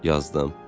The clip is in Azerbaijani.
Yazdım.